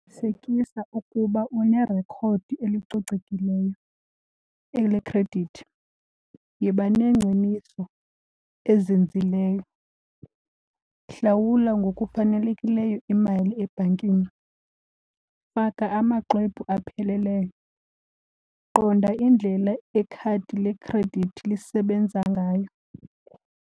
ukuba unerekhodi elicocekileyo elekhredithi, yiba nengciniso ezinzileyo. Hlawula ngokufanelekileyo imali ebhankini, faka amaxwebhu apheleleyo, qonda indlela ikhadi lekhredithi lisebenza ngayo.